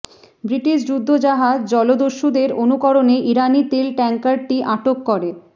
British যুদ্ধজাহাজ জলদস্যুদের অনুকরণে ইরানি তেল ট্যাংকারটি আটক করে